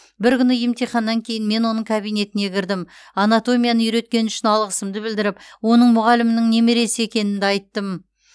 бір күні емтиханнан кейін мен оның кабинетіне кірдім анатомияны үйреткені үшін алғысымды білдіріп оның мұғалімінің немересі екенімді айттым